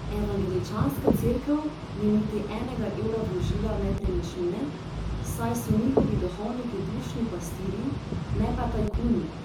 Evangeličanska cerkev ni niti enega evra vložila v nepremičnine, saj so njihovi duhovniki dušni pastirji, ne pa tajkuni.